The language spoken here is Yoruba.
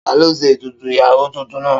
Ta ló ṣe ètùtù ìyàwó tuntun náà?